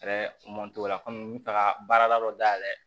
o la kɔmi n bɛ taga baara dɔ dayɛlɛ